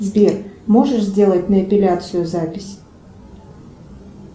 сбер можешь сделать на эпиляцию запись